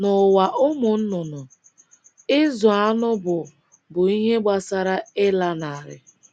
N’ụwa ụmụ nnụnụ, ịzụ anụ bụ bụ ihe gbasara ịlanarị.